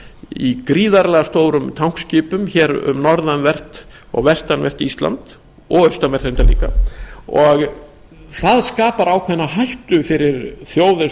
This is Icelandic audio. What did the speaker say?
í gríðarlega stórum tankskipum um norðanvert vestanvert og austanvert ísland það skapar ákveðna hættu fyrir þjóð eins og